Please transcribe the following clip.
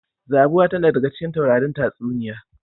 Zabuwa tana daga cikin taurarin tatsuniya.